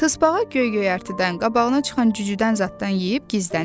Tısbağa göy-göyərtidən, qabağına çıxan cücüdən zaddan yeyib gizlənib.